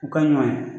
U ka ɲɔ